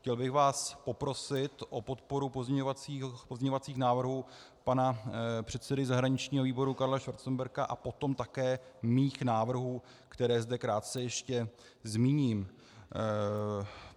Chtěl bych vás poprosit o podporu pozměňovacích návrhů pana předsedy zahraničního výboru Karla Schwarzenberga a potom také svých návrhů, které zde krátce ještě zmíním.